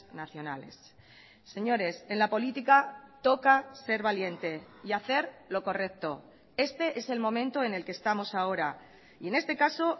nacionales señores en la política toca ser valiente y hacer lo correcto este es el momento en el que estamos ahora y en este caso